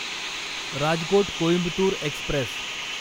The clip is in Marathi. राजकोट कोईंबतुर एक्स्प्रेस